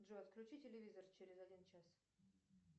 джой отключи телевизор через один час